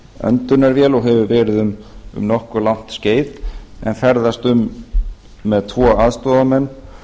öndunarvél og hefur verið um nokkuð langt skeið en ferðast um með tvo aðstoðarmenn